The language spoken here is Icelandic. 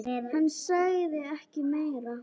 Hann sagði ekki meira.